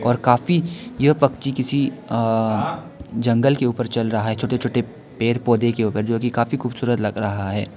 और काफी यह पक्षी किसी अ जंगल के ऊपर चल रहा है छोटे छोटे पेड़ पौधे के ऊपर जो की काफी खूबसूरत लग रहा है।